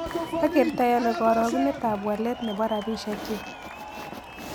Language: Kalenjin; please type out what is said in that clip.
Agertoiano karagunetap walet ne po rabisieknyuk